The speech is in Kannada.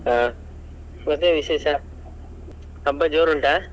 ಹಾ, ಮತ್ತೆ ವಿಶೇಷ ಹಬ್ಬ ಜೋರುಂಟಾ?